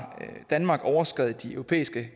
danmark overskredet de europæiske